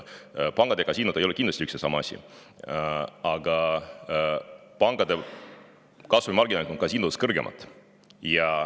Pangad ja kasiinod ei ole kindlasti üks ja sama asi, aga pankade kasumimarginaalid on kasiinode omadest kõrgemad.